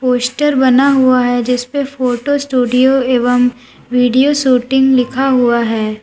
Poster बना हुआ है जिसपे फोटो स्टूडियो एवं वीडियो शूटिंग लिखा हुआ है।